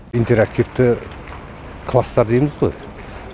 интерактивті класстар дейміз ғой